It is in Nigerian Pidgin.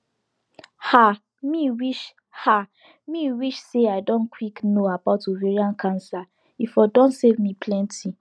ah me wish ah me wish say i don quick know about ovarian cancer e for don save me plenty